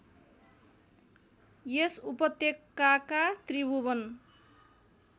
यस उपत्यकाका त्रिभुवन